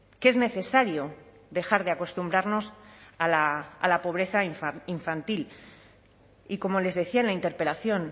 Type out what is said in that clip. que es necesario dejar de acostumbrarnos a la pobreza infantil y como les decía en la interpelación